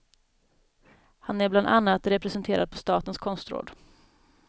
Han är bland annat representerad på statens konstråd.